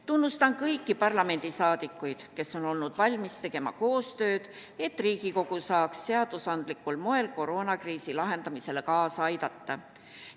Tunnustan kõiki parlamendisaadikuid, kes on olnud valmis tegema koostööd, et Riigikogu saaks seadusandlikul moel koroonakriisi lahendamisele kaasa aidata.